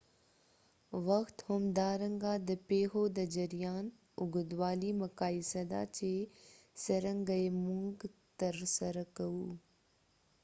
وخت همدارنګه د پیښو د جریان اوږدوالی مقایسه ده چې څرنګه یې موږ ترسره کوو